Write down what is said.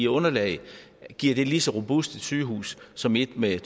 underlag giver det lige så robust et sygehus som et med